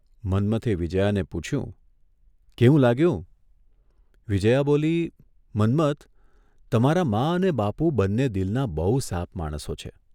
મન્મથે વિજ્યાને પૂછ્યું, કેવું લાગ્યું? વિજ્યા બોલી, ' મન્મથ, તમારાં મા અને બાપુ બંને દિલનાં બહુ સાફ માણસો છે.